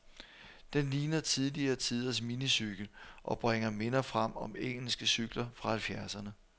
Den ligner tidligere tiders minicykel, og bringer minder frem om engelske cykler fra halvfjerdserne.